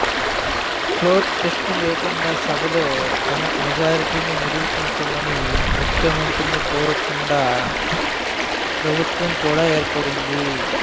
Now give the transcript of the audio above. floor test లేకుండా సభలో తన మెజారిటీని నిరూపించమని ముఖ్యమంత్రిని కోరకుండా ప్రభుత్వం కూడా ఏర్పడింది